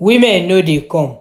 women no dey come.